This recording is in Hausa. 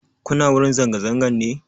Kuna wurin zanga-zangan ne?